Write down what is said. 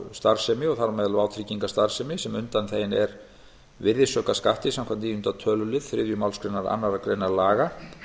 starfsemi þar á meðal vátryggingastarfsemi sem undanþegin er virðisaukaskatti samkvæmt níundi töluliður þriðju málsgrein annarrar greinar laga